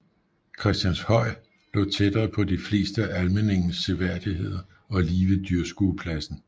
Christianshøj lå tættere på de fleste af Almindingens seværdigheder og lige ved dyrskuepladsen